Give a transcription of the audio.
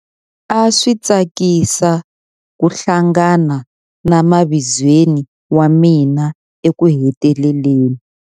A swi tsakisa ku hlangana na mavizweni wa mina ekuheteleleni.